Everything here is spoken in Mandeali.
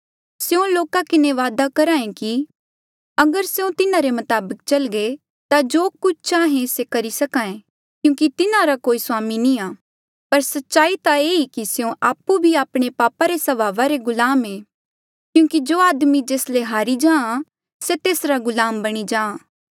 स्यों लोका किन्हें वादा करहे कि अगर स्यों तिन्हारे मताबक चलगे ता जो कुछ चाहें से करी सके क्यूंकि तिन्हारा कोई स्वामी नी आ पर सच्चाई ता ये ई कि स्यों आपु भी आपणे पापा रे स्वभावा रे गुलाम ऐें क्यूंकि जो आदमी जेस ले हारी जाहाँ से तेसरा गुलाम बणी जाहाँ